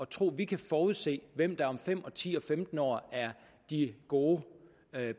tro at vi kan forudse hvem der om fem ti og femten år er de gode